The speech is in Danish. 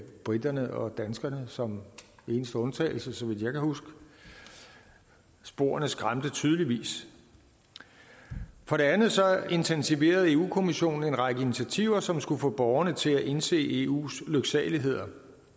briterne og danskerne som eneste undtagelse så vidt jeg kan huske sporene skræmte tydeligvis for det andet intensiverede europa kommissionen en række initiativer som skulle få borgerne til at indse eus lyksaligheder